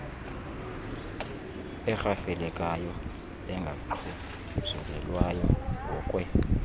erhafelekayo engaxhuzulelwayo ngokwe